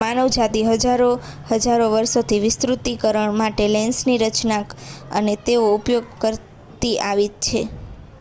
માનવજાતિ હજારો હજારો વર્ષોથી વિસ્તૃતીકરણ માટે લેન્સની રચના અને તેનો ઉપયોગ કરતી આવી છે